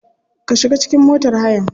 Ka shiga cikin motar hayan.